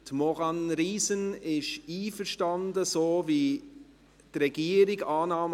Maurane Riesen ist einverstanden, so vorzugehen, wie es die Regierung vorschlägt.